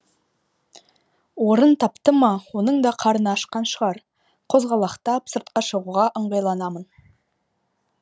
орын тапты ма оның да қарны ашқан шығар қозғалақтап сыртқа шығуға ыңғайланамын